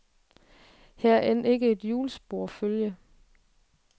Her er end ikke et hjulspor at følge.